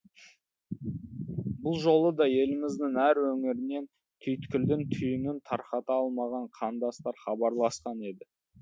бұл жолы да еліміздің әр өңірінен түйткілдің түйінін тарқата алмаған қандастар хабарласқан еді